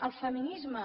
el feminisme